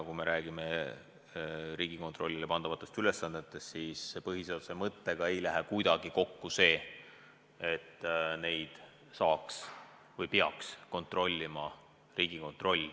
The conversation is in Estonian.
Kui me räägime Riigikontrollile pandavatest ülesannetest, siis põhiseaduse mõttega ei lähe kuidagi kokku, et erakondi peaks kontrollima Riigikontroll.